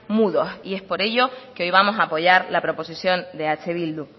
mudos y es por ello que hoy vamos apoyar la proposición de eh bildu